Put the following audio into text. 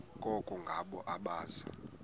koko ngabo abaza